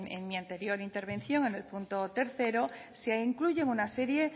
en mi anterior intervención en el punto tercero se incluyen una serie